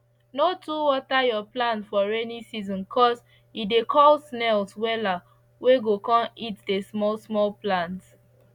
no too water your plants for rainy season cos e dey call snails wella wey go con eat the small small plants